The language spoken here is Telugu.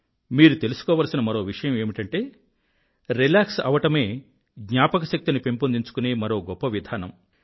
మీరు తెలుసుకోవలసిన మరో విషయం ఏమిటంటే రిలాక్స్ అవ్వడమే జ్ఞాపకశక్తిని పెంపొందించుకునే మరో గొప్ప విధానం